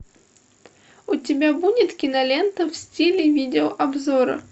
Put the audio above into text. у тебя будет кинолента в стиле видеообзора